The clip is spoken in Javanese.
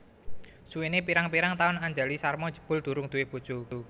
Suwene pirang pirang taun Anjali Sharma jebul durung duwé bojo